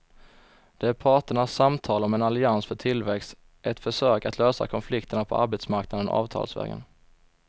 Det är parternas samtal om en allians för tillväxt, ett försök att lösa konflikterna på arbetsmarknaden avtalsvägen.